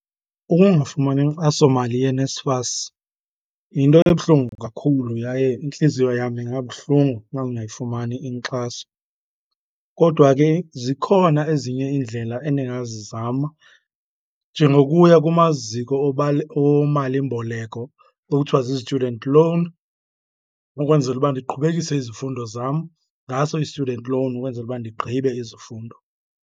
Ukungafumani inkxasomali yeNSFAS yinto ebuhlungu kakhulu yaye intliziyo yam ingabuhlungu xa ndingayifumani inkxaso, kodwa ke zikhona ezinye iindlela endingazizama. Njengokuya kumaziko omalimboleko okuthiwa zizityudenti lowuni, ukwenzela uba ndiqhubekise izifundo zam ngaso i-student loan ukwenzela uba ndigqibe izifundo.